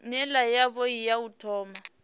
nila yavhui ya u thoma